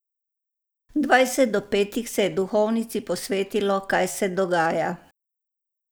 Dvajset do petih se je duhovnici posvetilo, kaj se dogaja.